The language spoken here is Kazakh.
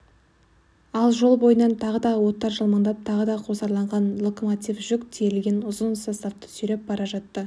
ал жол бойынан тағы да оттар жалмаңдап тағы да қосарланған локомотив жүк тиелген ұзын составты сүйреп бара жатты